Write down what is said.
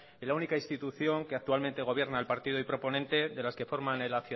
en la única institución que actualmente gobierna el partido y proponente de las que forman el